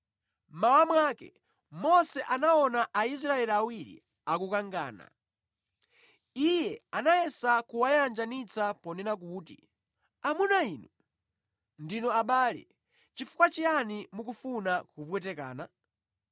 Mmawa mwake Mose anaona Aisraeli awiri akukangana. Iye anayesa kuwayanjanitsa ponena kuti, ‘Amuna inu, ndinu abale; chifukwa chiyani mukufuna kupwetekana?’